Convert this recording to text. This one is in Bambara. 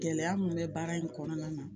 Gɛlɛya mun bɛ baara in kɔnɔna na